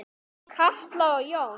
Katla og Jón.